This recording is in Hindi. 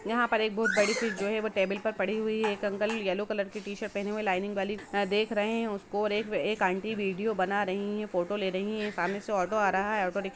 यहा पे एक बहुत बड़ी फिश जो है वो है टेबुल पे पड़ी हुई है एक अंकल यल्लो कलर की टीशर्ट पहने लाइनिंग वाली देख रहे हैं उसको ओर एक-एक आंटी वीडियो बना रही है फोटो ले रही है सामने से ओटो आ रहा है। Auto rickshaw--